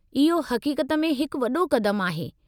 इहो हक़ीक़त में हिकु वॾो क़दमु आहे।